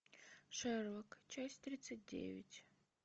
шерлок часть тридцать девять